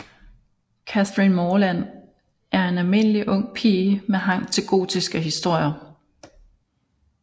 Catherine Morland er en almindelig ung pige med hang til gotiske historier